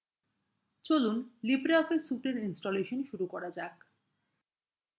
চলুন libreoffice suite এর installation শুরু করা যাক